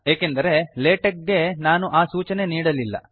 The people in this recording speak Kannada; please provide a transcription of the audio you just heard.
ಏಕೆಂದರೆ latex ಗೆ ನಾನು ಆ ಸೂಚನೆ ನೀಡಲಿಲ್ಲ